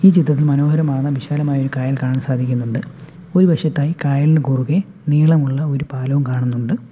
ഈ ചിത്രത്തിൽ മനോഹരമാണ് വിശാലമായ ഒരു കായൽ കാണാൻ സാധിക്കുന്നുണ്ട് ഒരു വശത്തായി കായലിനു കുറുകെ നീളമുള്ള ഒരു പാലവും കാണുന്നുണ്ട്.